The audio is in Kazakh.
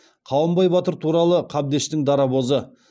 қабанбай батыр туралы қабдештің дарабозы